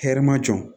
Hɛrɛ ma jɔ